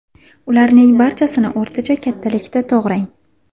Ularning barchasini o‘rtacha kattalikda to‘g‘rang.